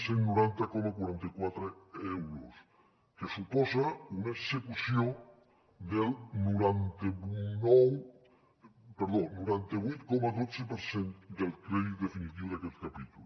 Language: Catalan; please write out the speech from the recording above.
cent i noranta coma quaranta quatre euros que suposa una execució del noranta vuit coma dotze per cent del crèdit definitiu d’aquest capítol